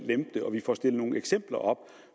lempe det og vi får stillet nogle eksempler op